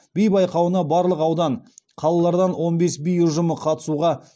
би байқауына барлық аудан қалалардан он бес би ұжымы қатысуға